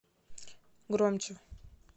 громче